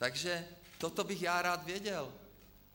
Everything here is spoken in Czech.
Takže toto bych já rád věděl.